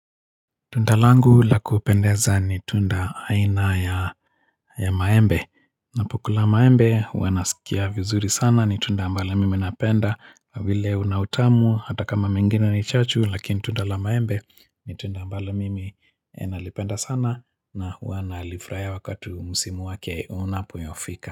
Tunda langu la kupendeza ni tunda aina ya maembe Napokula maembe huwa nasikia vizuri sana ni tunda ambalo mimi napenda kwa vile unautamu hata kama mengine ni chachu lakini tunda la maembe ni tunda ambalo mimi nalipenda sana na huwa nalifurahia wakati wa msimu wake unapofika.